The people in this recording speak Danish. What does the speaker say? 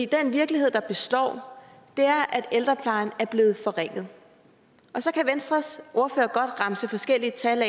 den virkelighed der består er at ældreplejen er blevet forringet og så kan venstres ordfører godt remse forskellige tal